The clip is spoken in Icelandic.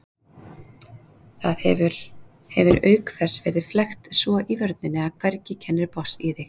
Það hefir auk þess verið flækt svo í vörninni að hvergi kennir botns í því.